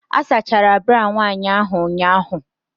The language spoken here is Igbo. A sachara bra nwanyị ahụ ụnyahụ.